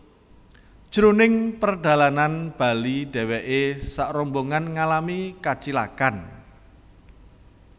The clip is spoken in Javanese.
Jroning perdalanan bali dheweke sakrombongan ngalami kacilakan